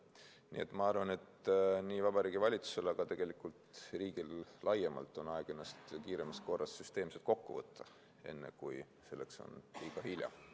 Nii et ma arvan, et Vabariigi Valitsusel, ja tegelikult riigil laiemalt, on aeg ennast kiiremas korras süsteemselt kokku võtta, enne kui on liiga hilja.